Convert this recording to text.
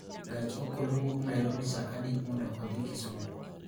Gach okolo wuok Nairobi saa adi mondo odhi Kisumu?